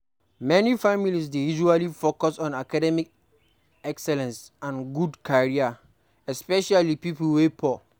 Many families dey usually focus on academic excellence and good career, especially pipo wey poor